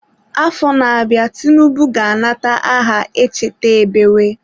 Afọ na-abịa Tinubu ga-anata aha Echeta ebewe.